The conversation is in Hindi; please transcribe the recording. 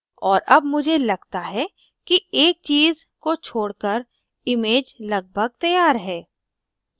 और अब मुझे लगता है कि एक चीज़ को छोड़कर image लगभग तैयार है